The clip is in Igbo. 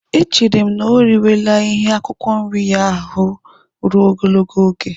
Echere m na o riwela ihe akwụkwọ nri ya ahụ ruo ogologo oge.